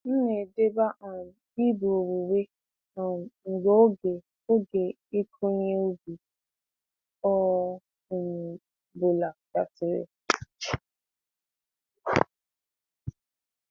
M na-edeba um ibu owuwe um mgbe oge oge ịkụ ihe ubi ọ um bụla gasịrị.